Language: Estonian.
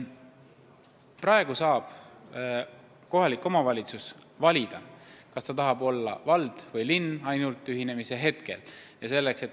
Praegu saab kohalik omavalitsus valida, kas ta tahab olla vald või linn, ainult ühinemise hetkel.